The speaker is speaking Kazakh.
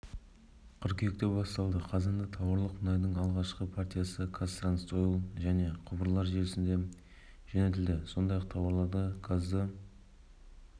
қыркүйекте басталды қазанда тауарлық мұнайдың алғашқы партиясы қазтрансойл және құбырлар желісіне жөнелтілді сондай-ақ тауарлық газды